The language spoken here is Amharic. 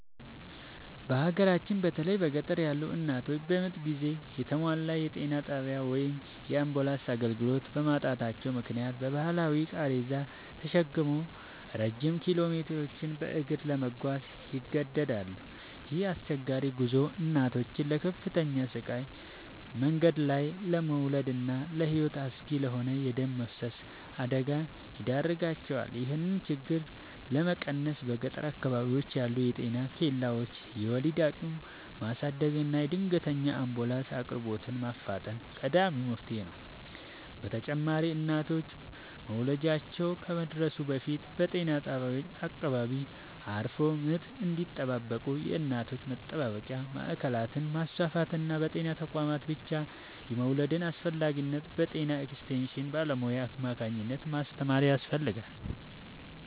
በሀገራችን በተለይም በገጠር ያሉ እናቶች በምጥ ጊዜ የተሟላ የጤና ጣቢያ ወይም የአምቡላንስ አገልግሎት በማጣታቸው ምክንያት በባህላዊ ቃሬዛ ተሸክመው ረጅም ኪሎሜትሮችን በእግር ለመጓዝ ይገደዳሉ። ይህ አስቸጋሪ ጉዞ እናቶችን ለከፍተኛ ስቃይ፣ መንገድ ላይ ለመውለድና ለሕይወት አስጊ ለሆነ የደም መፍሰስ አደጋ ይዳርጋቸዋል። ይህንን ችግር ለመቀነስ በገጠር አካባቢዎች ያሉ የጤና ኬላዎችን የወሊድ አቅም ማሳደግና የድንገተኛ አምቡላንስ አቅርቦትን ማፋጠን ቀዳሚው መፍትሔ ነው። በተጨማሪም እናቶች መውለጃቸው ከመድረሱ በፊት በጤና ጣቢያዎች አቅራቢያ አርፈው ምጥ እንዲጠባበቁ የእናቶች መጠባበቂያ ማዕከላትን ማስፋፋትና በጤና ተቋማት ብቻ የመውለድን አስፈላጊነት በጤና ኤክስቴንሽን ባለሙያዎች አማካኝነት ማስተማር ያስፈልጋል።